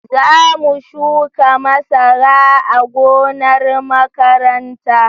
Za mu shuka masara a gonar makaranta